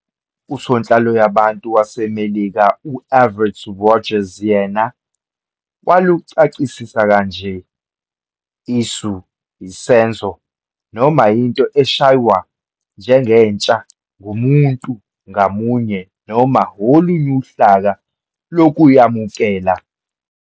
Usonhlaloyabantu waseMelika u-Everett Rogers, yena waluchasisa kanje-"Isu, isenzo, noma into eshwaywa njengentsha ngumuntu ngamunye noma olunye uhlaka lokuyamukela"